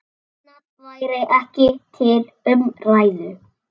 Annað væri ekki til umræðu.